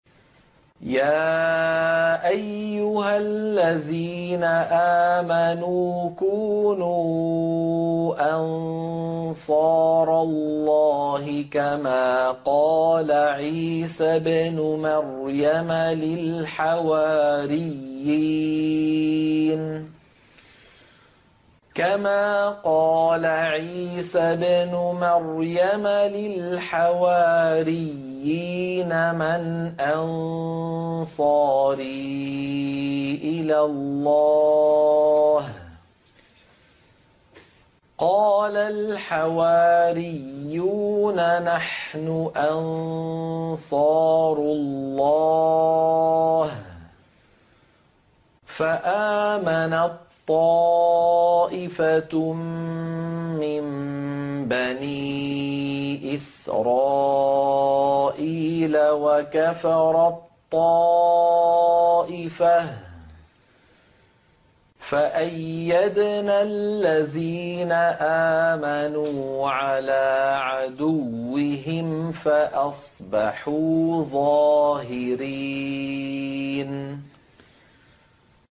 يَا أَيُّهَا الَّذِينَ آمَنُوا كُونُوا أَنصَارَ اللَّهِ كَمَا قَالَ عِيسَى ابْنُ مَرْيَمَ لِلْحَوَارِيِّينَ مَنْ أَنصَارِي إِلَى اللَّهِ ۖ قَالَ الْحَوَارِيُّونَ نَحْنُ أَنصَارُ اللَّهِ ۖ فَآمَنَت طَّائِفَةٌ مِّن بَنِي إِسْرَائِيلَ وَكَفَرَت طَّائِفَةٌ ۖ فَأَيَّدْنَا الَّذِينَ آمَنُوا عَلَىٰ عَدُوِّهِمْ فَأَصْبَحُوا ظَاهِرِينَ